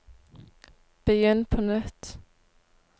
begynn på nytt